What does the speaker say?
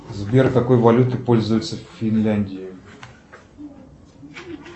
сбер какой валютой пользуются в финляндии